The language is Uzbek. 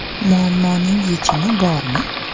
Muammoning yechimi bormi?